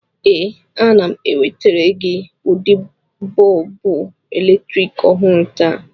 Ee, ana m ewetara gị ụdị bọlbụ eletrik ọhụrụ taa.